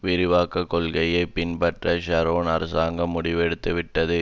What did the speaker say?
விரிவாக்க கொள்கையை பின்பற்ற ஷரோன் அரசாங்கம் முடிவெடுத்து விட்டது